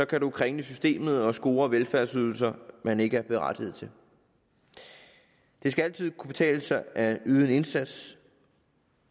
kan man kringle systemet og score velfærdsydelser man ikke er berettiget til det skal altid kunne betale sig at yde en indsats